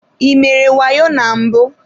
Ị mere wayo na mbụ?